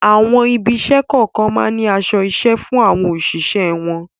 Àwọn ibi-iṣẹ́ kọ̀ọ̀kan máa ń ní aṣọ-iṣẹ́ fún àwọn òṣìṣẹ́ wọn.